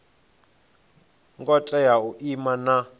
ngo tea u ima na